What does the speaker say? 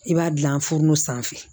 I b'a dilan fu sanfɛ